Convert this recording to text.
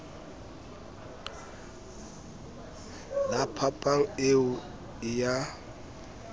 la phapang eo e a